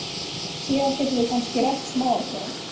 Síðar getum við kannski rætt smáatriðin.